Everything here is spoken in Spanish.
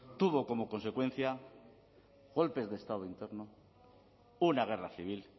tuvo como consecuencia golpes de estado interno una guerra civil